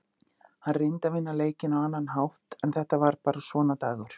Hann reyndi að vinna leikinn á annan hátt en þetta var bara svona dagur.